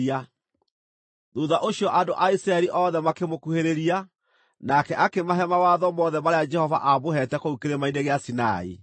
Thuutha ũcio andũ a Isiraeli othe makĩmũkuhĩrĩria, nake akĩmahe mawatho mothe marĩa Jehova amũheete kũu Kĩrĩma-inĩ gĩa Sinai.